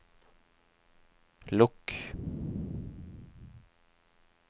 lukk